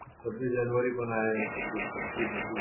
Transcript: सवीस जानेवारी पण आहे